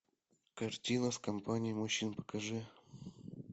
картина с компанией мужчин покажи